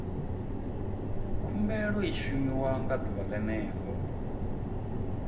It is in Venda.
khumbelo i shumiwa ḓuvha ḽene ḽo